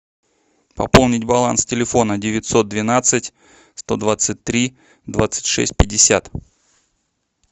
пополнить баланс телефона девятьсот двенадцать сто двадцать три двадцать шесть пятьдесят